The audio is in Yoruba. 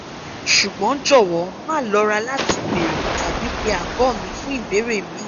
sugbon jowo ma lora lati beere tabi pe ago mi fun ibeere mi